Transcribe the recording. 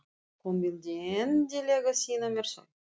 Hún vildi endilega sýna mér þau.